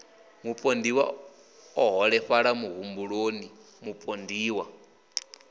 mupondiwa o holefhala muhumbuloni mupondiwa